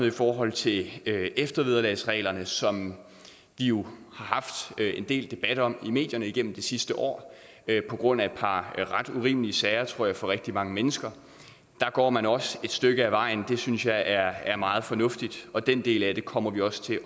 i forhold til eftervederlagsreglerne som vi jo har haft en del debat om i medierne igennem de sidste år på grund af et par ret urimelige sager for tror jeg rigtig mange mennesker der går man også et stykke ad vejen og det synes jeg er meget fornuftigt og den del af det kommer vi også til